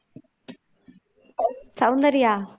Soundarya